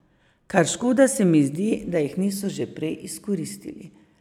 Kar škoda se mi zdi, da jih niso že prej izkoristili.